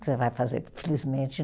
Você vai fazer, infelizmente